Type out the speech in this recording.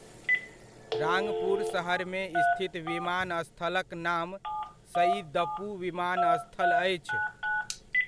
राङ्पुर सहरमे स्थित विमानस्थलक नाम शइदपु विमानस्थल अछि।